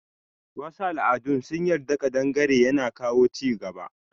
Wasu al'adun sun yarda kadangare yana kawo chigaba.